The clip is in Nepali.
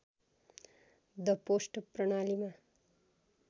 द पोस्ट प्रणालीमा